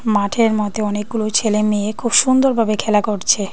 মাঠের মধ্যে অনেকগুলো ছেলে মেয়ে খুব সুন্দরভাবে খেলা করছে।